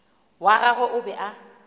wa gagwe o be a